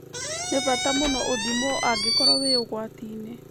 Nĩ bata mũno ũthimwo angĩkorwo wĩ ũgwati-inĩ